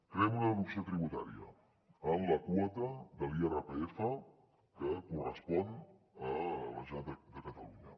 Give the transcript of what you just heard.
creem una deducció tributària en la quota de l’irpf que correspon a la generalitat de catalunya